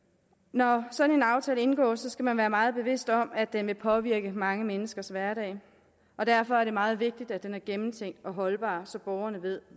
når sådan en aftale indgås skal man være meget bevidst om at den vil påvirke mange menneskers hverdag og derfor er det meget vigtigt at den er gennemtænkt og holdbar så borgerne ved